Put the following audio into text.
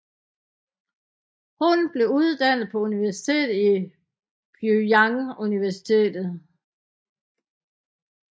Hun blev uddannet på universitetet i Pyongyang University